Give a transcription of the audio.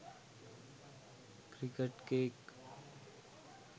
cricket cake